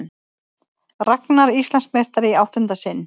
Ragna Íslandsmeistari í áttunda sinn